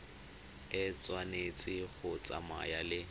e tshwanetse go tsamaya le